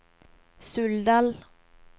Suldal